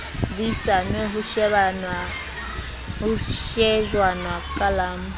buisanwe ho shejwana ka la